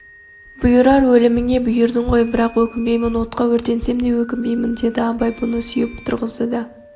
бұйырар өліміңе бұйырдың ғой бірақ өкінбеймін отқа өртенсем де өкінбеймін деді абай бұны сүйеп тұрғызды да